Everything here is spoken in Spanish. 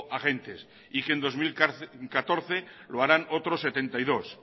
agentes y que en dos mil catorce lo harán otros setenta y dos